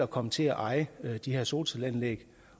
komme til at eje de her solcelleanlæg